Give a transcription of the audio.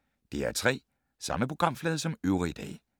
DR P3